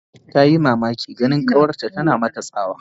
Tayi mamakin ganin kawarta tana mata tsawa